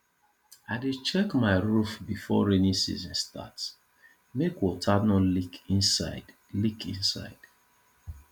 i dey check my roof before rainy season start make water no leak inside leak inside